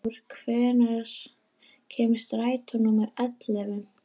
Brynþór, hvenær kemur strætó númer ellefu?